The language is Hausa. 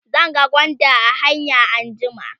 zan ga gwanda a hanya anjima